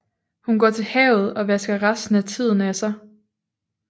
Hun går til havet og vasker resten af tiden af sig